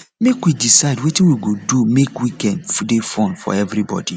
make we decide wetin we go do make weekend dey fun for everybodi